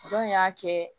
Dɔn y'a kɛ